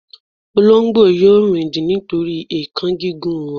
olongbo yíò rindin nitori èékán gígùn wọn